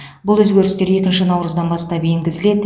бұл өзгерістер екінші наурыздан бастап енгізіледі